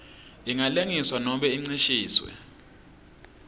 ingalengiswa nobe incishiswe